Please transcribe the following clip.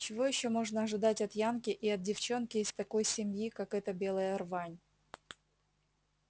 чего ещё можно ожидать от янки и от девчонки из такой семьи как эта белая рвань